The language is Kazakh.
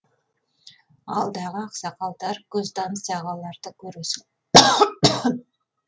алдағы ақсақалдар көзтаныс ағаларды көресің